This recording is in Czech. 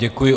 Děkuji.